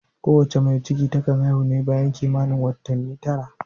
Ko wace mai ciki ta kan haihu ne bayan kimanin watanni tara